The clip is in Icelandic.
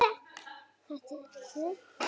Bara hætta því.